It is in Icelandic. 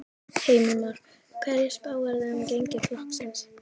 Heimir Már: Hverju spáirðu þá um gengi flokksins?